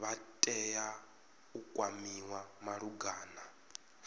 vha tea u kwamiwa malugana